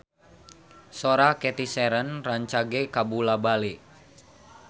Sora Cathy Sharon rancage kabula-bale